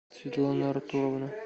светлана артуровна